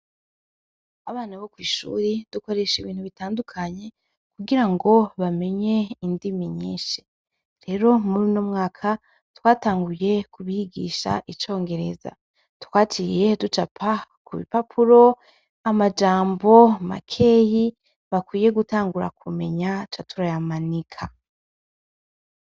Abana bo kw'ishure dukoreshe ibintu bitandukanye kugirango bamenye indimi nyinshi, rero mur'uno mwaka twatanguye kubigisha icongereza, twaciye ducapa k'urupapuro amajambo makeyi bakwiye gutangura kumenya tuca turayamanika.